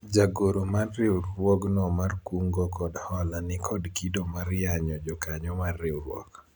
jagoro mar riwruogno mar kungo kod hola nikod kido mar yanyo jokanyo mar riwruok